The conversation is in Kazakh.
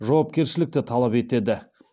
жауапкершілікті талап етеді